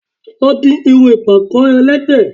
Lọ di irun ìpàkọ́ ẹlẹ́de